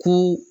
Ko